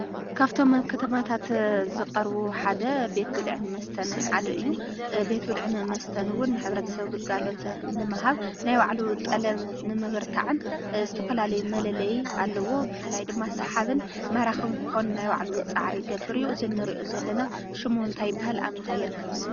ካፍቶም ናይ ከተማታት ዝቐርቡ ሓደ ቤትብልዕን መስተን ሓደ እዩ። ቤትብልዕን መስተን ንኹሉ ሕብርተሰብ ንግልጋሎት ንምሃብ ናይ ባዕሉ ጠለብ ንምብርታዕን ዝተፍፈላለየ መለለይ ኣለዎ። ብፍላይ ድማ ሳሓብን ማራኽን ክኾነ ናይ ባዕሉ ፃዕርን ይገብር እዩ። እዚ እንሪኦ Hለና ሹሙ እንታይ ይባሃል ኣብ ምንታይ ከ ይርከብ?